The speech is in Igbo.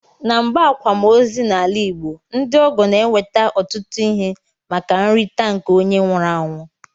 Na mgbe akwam ozi na ala igbo, ndi ọgọ na eweta otụtu ihe maka nrita nke onye nwuru anwụ.